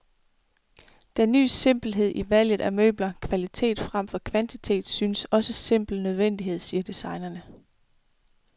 Den ny simpelhed i valget af møbler, kvalitet fremfor kvantitet, skyldes også simpel nødvendighed, siger designerne.